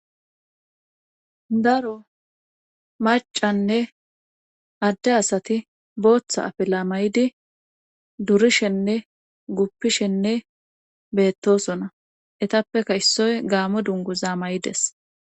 Daro macanne adde asati booththa afila mayidi durishenne guppishenne beettosona etappeka issoy gaame dungu za mayides